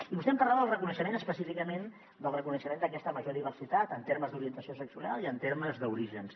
i vostè em parlava del reconeixement específicament d’aquesta major diversitat en termes d’orientació sexual i en termes d’orígens